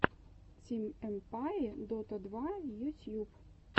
тим эмпае дота два ютьюб